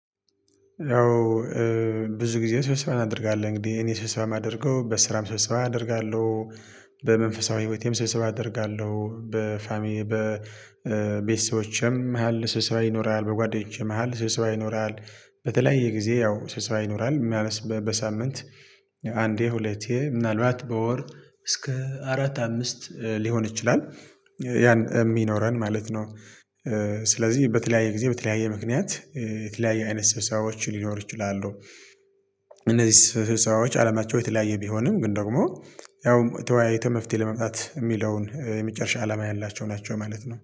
ያው ብዙ ጊዜ ስብስባ አደርጋለሁ እንግዲህ እኔ ስብስባ የማደርገው በስራም ስብስባ አደርጋለሁ። በመንፈሳዊ ህይወቴም ስብሰባ አደርጋለሁ በፋሚሊ በቤተሰቦቼም መሃል ስብሰባ ይኖራል በጓደኞቼ መሃል ስብሰባ ይኖራል። በተለያየ ጊዜ ያው ስብሰባ ይኖራል ማለት በሳምንት አንዴ ሁለቴ ምናልባት በወር እስከ አራት አምስት ሊሆን ይችላል። ያን የሚኖረን ማለት ነው። ስለዚህ በተለያየ ጊዜ በተለያየ ምክንያት የተለያየ አይነት ሰብሰባዎች ሊኖር ይችላሉ። እነዚህ ስብሰባዎች አለማቸው የተለያየ ቢሆንም ግን ደግሞ ያውም ተወያይተህ መፍትሄ ለመምጣት የሚለውን የመጨረሻ አላማ ያላቸው ናቸው ማለት ነው